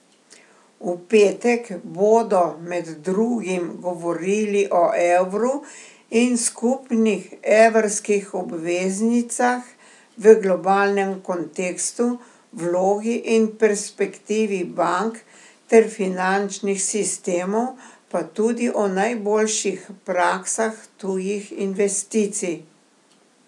V petek bodo med drugim govorili o evru in skupnih evrskih obveznicah v globalnem kontekstu, vlogi in perspektivi bank ter finančnih sistemov, pa tudi o najboljših praksah tujih investicij.